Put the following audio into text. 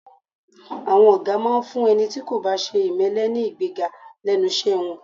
À̀wọn ọ̀gá máa ń fún ẹni tí kò bá ṣe ìmẹ́lẹ́ ní ìgbéga lẹ́nu iṣẹ́ wọn